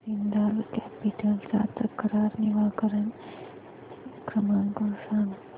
Jindal capital चा तक्रार निवारण क्रमांक सांग